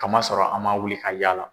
Ka masɔrɔ a ma wuli ka yaala.